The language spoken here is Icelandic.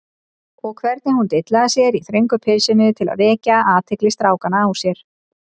Og hvernig hún dillaði sér í þröngu pilsinu til að vekja athygli strákanna á sér!